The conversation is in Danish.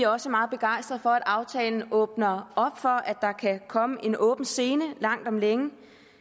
også meget begejstrede for at aftalen åbner op for at der kan komme en åben scene langt om længe